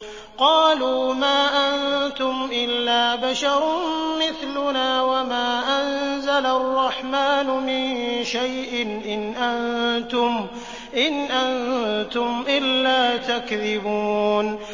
قَالُوا مَا أَنتُمْ إِلَّا بَشَرٌ مِّثْلُنَا وَمَا أَنزَلَ الرَّحْمَٰنُ مِن شَيْءٍ إِنْ أَنتُمْ إِلَّا تَكْذِبُونَ